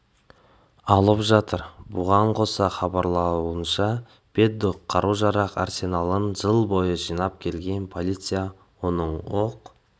алып жатыр бұған қоса хабарлауынша пэддок қару-жарақ арсеналын жыл бойы жинап келген полиция оның оқ